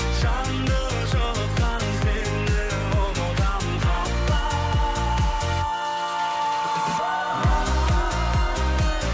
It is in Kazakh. жанды жылытқан сені ұмытамын қалай